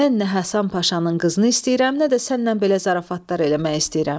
Mən nə Həsən Paşanın qızını istəyirəm, nə də sənlə belə zarafatlar eləmək istəyirəm."